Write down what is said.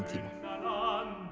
tíma